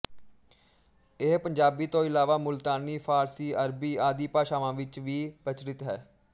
ਇਹ ਪੰਜਾਬੀ ਤੋਂ ਇਲਾਵਾ ਮੁਲਤਾਨੀ ਫਾਰਸੀ ਅਰਬੀ ਆਦਿ ਭਾਸ਼ਾਵਾਂ ਵਿੱਚ ਵੀ ਪ੍ਰਚੱਲਿਤ ਹੈ